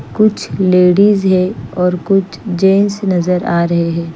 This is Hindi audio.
कुछ लेडिज है और कुछ जेंट्स नज़र आ रहे हैं।